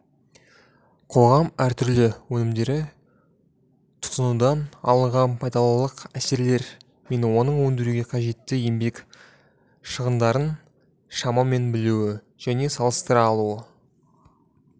қоғам әртүрлі өнімдерді тұтынудан алынған пайдалылық әсерлер мен оны өндіруге қажетті еңбек шығындарын шамамен білуі және салыстыра алуы